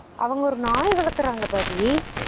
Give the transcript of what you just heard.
அவங்க ஒரு நாய் வளத்துறாங்க பாபி